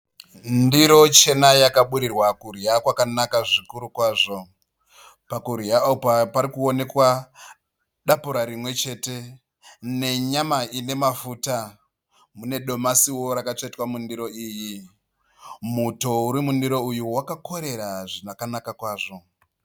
Ndiro chena yakaburirwa kudya kwakanaka zvikuru kwazvo. Pakudya apa parikuonekwa dapura rimwe chete nenyama ine mafuta mune domasiwo rakatsvetwa mundiro iyi muto uri mundiro uyu wakakorera zvakanaka kwazvo.